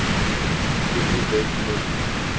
hierdie wet moet